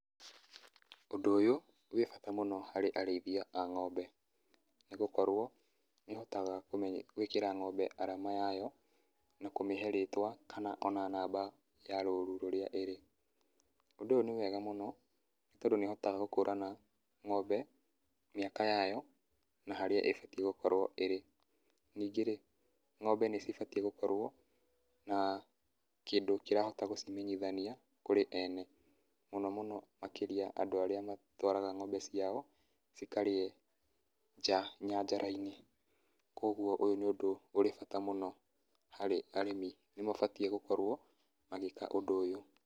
Ũndũ ũyũ ũrĩ bata mũno harĩ arĩithia ng'ombe, nĩ gũkorwo nĩ mahotaga gwĩkĩra ng'ombe arama yayo na kũmĩhe rĩtwa kana ona namba ya rũru rĩrĩa ĩrĩ, ũndũ ũyũ nĩ wega mũno mũndũ nĩ tondũ nĩ ahotaga gũkũra ng'ombe mĩaka yayo na harĩa ĩbatie gũkorwo ĩrĩ, ningĩ rĩ ng'ombe nĩ cibatie gũkorwo na kĩndũ kĩrahota gũcimenyithania kũrĩ ene, mũno mũno makĩria andũ arĩa matwaraga ng'ombe ciao cikarĩe nja, nyanjarainĩ kwoguo ũyũ nĩ ũndũ wĩ bata harĩ arĩmi, nĩ mabatie gũkorwo magĩka ũndũ ũyũ.